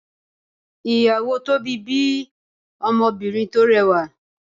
iyawo tobi bí Ọmọbinrin tó rẹwa